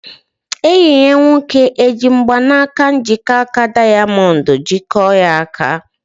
Enyi ya nwoke eji mgbaka njikọaka dayamondu jikọọ ya aka?